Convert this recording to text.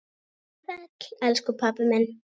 Vertu sæll, elsku pabbi minn.